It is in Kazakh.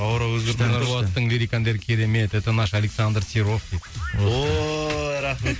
нұрболаттың лирикалық әндері керемет это наш александр серов дейді ой рахмет